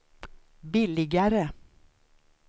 billigare